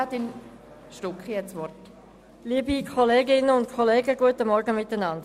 Kommissionssprecherin der FiKo-Minderheit.